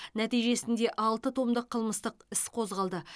нәтижесінде алты томдық қылмыстық іс қозғалды